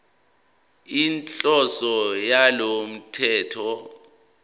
inhloso yalo mthetho